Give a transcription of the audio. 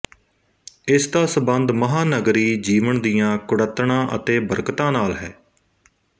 ਇਸ ਦਾ ਸੰਬੰਧ ਮਹਾਂਨਗਰੀ ਜੀਵਨ ਦੀਆਂ ਕੁੜੱਤਣਾਂ ਅਤੇ ਬਰਕਤਾਂ ਨਾਲ ਹੈ